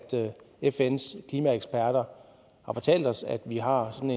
fns klimaeksperter har fortalt os at vi har sådan